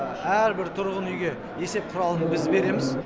әрбір тұрғын үйге есеп құралын біз береміз